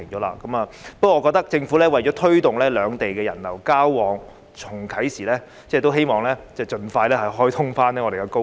不過，我認為政府為推動兩地人流交往，應該盡快重開高鐵。